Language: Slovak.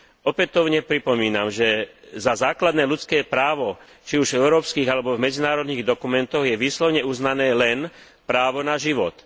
Opätovne pripomínam, že za základné ľudské právo, či už v európskych alebo v medzinárodných dokumentoch, je výslovne uznané len právo na život.